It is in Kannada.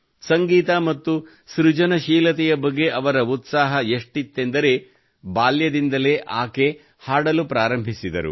ಸಂಗೀತ ಮತ್ತು ಸೃಜನಶೀಲತೆಯ ಬಗ್ಗೆ ಅವರ ಉತ್ಸಾಹ ಎಷ್ಟಿತ್ತೆಂದರೆ ಬಾಲ್ಯದಿಂದಲೇ ಆಕೆ ಹಾಡಲು ಪ್ರಾರಂಭಿಸಿದರು